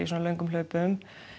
löngum hlaupum